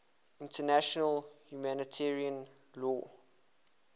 international humanitarian law